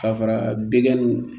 Ka fara bigɛnw